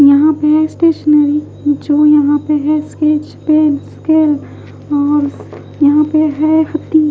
यहाँ पे स्टेशनरी जो यहाँ पे है स्केच पेन स्केल और यहाँ पे है हती--